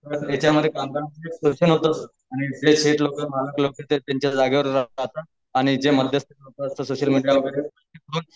त्याच्यामध्ये याच्या मधे कामगारंच शोषण होत सर त्यांचे शेट लोक मालक लोक ते त्यांच्या जगेवर जातातआणि जे मध्यस्थी सोशल मीडिया वगैरे